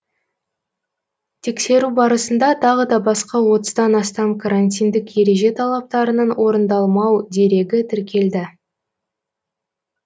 тексеру барысында тағы да басқа отыздан астам карантиндік ереже талаптарының орындалмау дерегі тіркелді